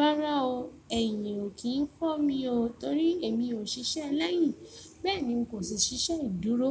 Rárá o, ẹ̀yìn ò kí ń fọ́ mi o, torí èmi ò ṣiṣẹ́ láì yí. Bẹ́ẹ̀ ni, n kò sì ṣiṣẹ́ ìdúró.